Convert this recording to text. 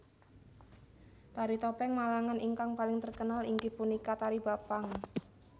Tari topeng Malangan ingkang paling terkenal inggih punika tari Bapang